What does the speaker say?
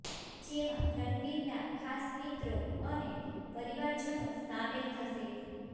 જેમાં રણવીરના ખાસ મિત્રો અને પરિવારજનો સામેલ થશે